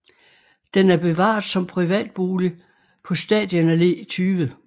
Den er bevaret som privat bolig på Stadion Alle 20